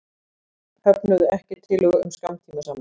Höfnuðu ekki tillögu um skammtímasamning